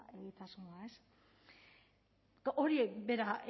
egitasmoa ez hori bera